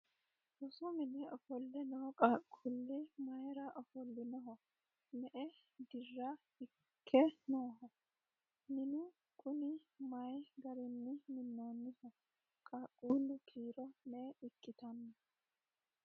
rosu mine ofolle noo qaqquullii mayeera ofollinoho? me"e dira ikke nooho? minu kuni maye garinni minnoonniho? qaaqquullu kiiro me"e ikkitanno?